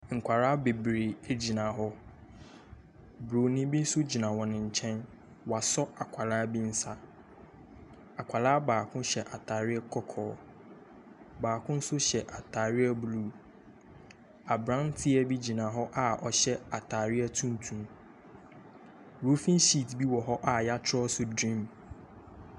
Nkwadaa bebree gyina hɔ, bronin bi nso gyina wɔn nkyɛn, wasɔ akwadaa bi nsa. Akwadaa baako hyɛ ataadeɛ kɔkɔɔ, baako nso hyɛ ataadeɛ blue. Aberanteɛ bi gyina hɔ a ɔhyɛ ataadeɛ tuntum. Roofing sheet bi wɔ hɔ a yɛatwerɛ so dream.